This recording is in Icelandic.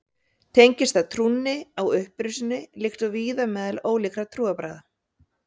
Tengist það trúnni á upprisuna líkt og víða meðal ólíkra trúarbragða.